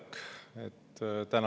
Täna on seda vähe.